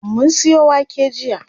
Mun siyo wake jiya.